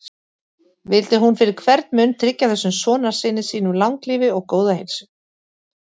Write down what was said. Vildi hún fyrir hvern mun tryggja þessum sonarsyni sínum langlífi og góða heilsu.